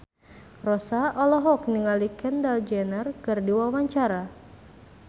Rossa olohok ningali Kendall Jenner keur diwawancara